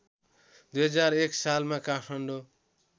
२००१ सालमा काठमाडौँ